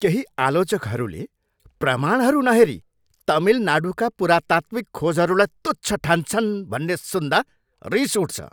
केही आलोचकहरूले प्रमाणहरू नहेरी तमिलनाडूका पुरातात्विक खोजहरूलाई तुच्छ ठान्छन् भन्ने सुन्दा रिस उठ्छ।